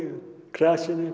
grasið